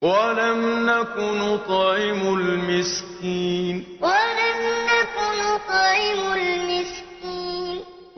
وَلَمْ نَكُ نُطْعِمُ الْمِسْكِينَ وَلَمْ نَكُ نُطْعِمُ الْمِسْكِينَ